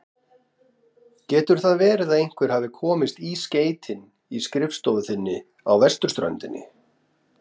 Getur það verið að einhver hafi komist í skeytin í skrifstofu þinni á vesturströndinni?